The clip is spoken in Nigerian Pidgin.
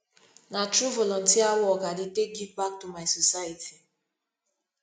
na through volunteer work i dey take give back to my society